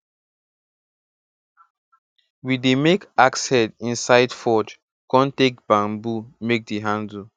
we dey make axe head inside forge con take bamboo make di handle